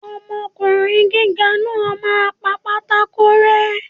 Ọmọkùnrin gíga náà máa pa pátákó rẹ́.